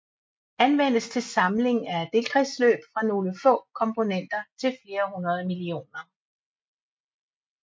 Anvendes til samling af delkredsløb fra nogle få komponenter til flere hundrede millioner